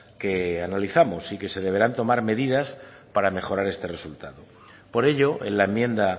que analizamos y que se deberán tomar medidas para mejorar este resultado por ello en la enmienda